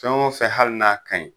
Fɛn o fɛn hali n'a kaɲi